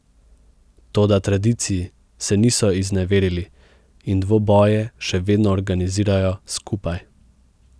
Toda tradiciji se niso izneverili in dvoboje še vedno organizirajo skupaj.